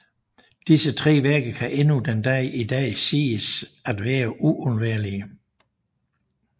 Disse tre værker kan endnu den dag i dag siges at være uundværlige